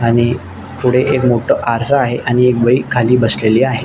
आणि पुढे एक मोठ आरसा आहे आणि एक बई खाली बसलेली आहे.